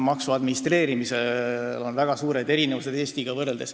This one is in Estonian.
Maksude administreerimisel on Eestiga võrreldes väga suured erinevused.